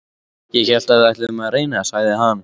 Ég hélt við ætluðum að reyna, sagði hann.